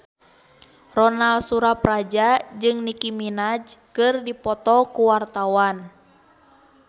Ronal Surapradja jeung Nicky Minaj keur dipoto ku wartawan